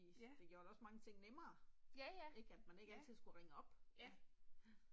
Ja. Ja ja, ja, ja